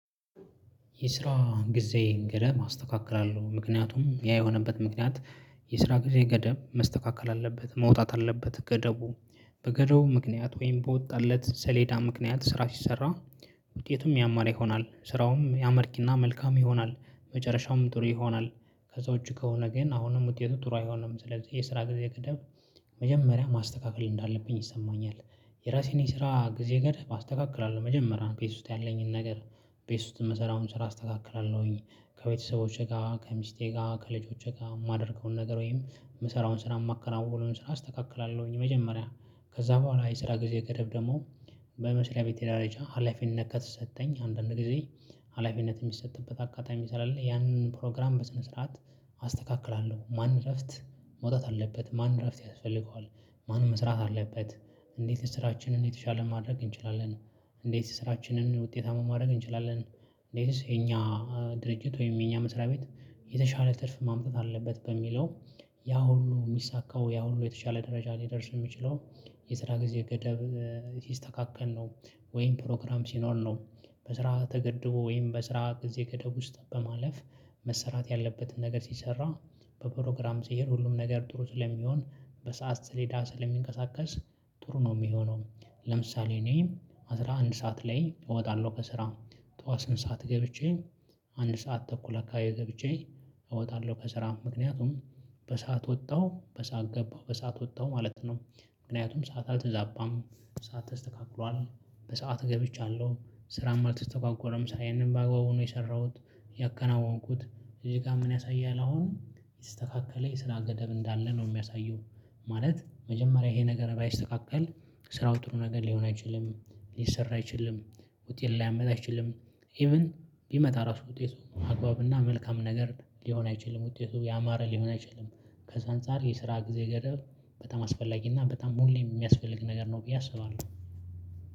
የስራ ጊዜ ገደብ ማስተካከል አለው ምክንያቱም ያ የሆነበት ምክንያት የስራ ጊዜ ገደብ መስተካከል አለበት መውጣት አለበት ገደቡ። በገደቡ ምክንያት ወይም በወጣለት ሰሌዳ ምክንያት ስራ ሲሰራ ውጤቱም ያማረ ይሆናል። ስራውም አመርቂና መልካም ይሆናል መጨረሻውም ጥሩ ይሆናል። ከዛ ውጭ ከሆነ ግን አሁንም ውጤቱ ጥሩ አይሆንም። ስለዚህ የስራ ጊዜ ቅደም መጀመሪያ ማስተካከል እንዳለብኝ ይሰማኛል። የራሴን የስራ ጊዜ ገደብ አስተካክላለሁ መጀመሪያ ቤት ውስጥ ያለኝን ነገር። ቤት ውስጥ የምሰራውን ስራ አስተካክላለሁኝ ከቤተሰቦቼ ጋር ከሚስቴ ጋር ከልጆቼ ጋር የማደርገውን ነገር ወይም የምሰራውን ስራ የማከናውነውን ስራ አስተካክላለሁኝ መጀመሪያ። ከዛ በኋላ የስራ ጊዜ ገደብ ደግሞ በመስሪያ ቤቴ ደረጃ ሀላፊነት ከተሰጠኝ አንዳንድ ጊዜ። ሀላፊነት የሚሰጥበት አጋጣሚ ስላለ ያንን ፕሮግራም በስነ ስርዓት አስተካክላለሁ። ማን እረፍት መውጣት አለበት? ማን እረፍት ያስፈልገዋል? ማን መስራት አለበት? እንዴት ስራችንን የተሻለ ማድረግ እንችላለን? እንዴት ስራችንን ውጤታማ ማድረግ እንችላለን? እንዴትስ የእኛ ድርጅት ወይም የኛ መስሪያ ቤት የተሻለ ትርፍ ማምጣት አለበት በሚለው? ያ ሁሉ የሚሳካው ያ ሁሉ የተሻለ ደረጃ ሊደርስ የሚችለው የስራ ጊዜ ገደብ ሲስተካከል ነው። ወይም ፕሮግራም ሲኖር ነው። በስራ ተገድቦ ወይም በስራ ጊዜ ገደብ ውስጥ በማለፍ መሰራት ያለበትን ነገር ሲሰራ በፕሮግራም ስሄድ ሁሉም ነገር ጥሩ ስለሚሆን በሰአት ሰሌዳ ስለሚንቀሳቀስ ጥሩ ነው የሚሆነው። ለምሳሌ እኔ አስራ አንድ ሰዓት ላይ እወጣለሁ ከስራ ጠዋት ስምንት ሰዓት ገብቼ። አንድ ሰዓት ተኩል አካባቢ ገብቼ እወጣለሁ ከስራ ምክንያቱም በሰአት ወጣሁ በሰአት ገባሁ በሰአት ወጣሁ ማለት ነው። ምክንያቱም ሰዓት አልተዛባም ሰዓት ተስተካክሏል። በሰአት ገብቻለሁ ስራም አልተስተጓጎለም ስራዬንም በአግባቡ ነው የሰራሁት። ያከናወንኩት እዚህ ጋር ምን ያሳያል አሁን የተስተካከለ የስራ ገደብ እንዳለ ነው የሚያሳየው። ማለት መጀመሪያ ይሄ ነገር ባይስተካከል ስራው ጥሩ ነገር ሊሆን አይችልም። ሊሰራ አይችልም። ውጤት ሊያመጣ አይችልም። ኢቭን ቢመጣ ራሱ ውጤቱ አግባብና መልካም ነገር ሊሆን አይችልም ውጤቱ ያማረ ሊሆን አይችልም። ከዛ አንፃር የስራ ጊዜ ገደብ በጣም አስፈላጊ እና በጣም ሁሌም የሚያስፈልግ ነገር ነው ብዬ አስባለሁ።